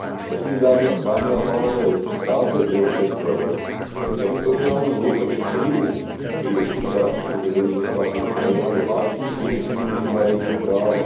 Nesmíme, dámy a pánové, ztrácet zde zřetele, že teritoriální loupež Krymu, který je součástí suverénního státu Ukrajina, je vážným porušením mezinárodního práva.